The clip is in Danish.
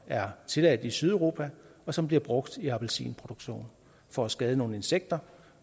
er tilladt i sydeuropa og som bliver brugt i appelsinproduktion for at skade nogle insekter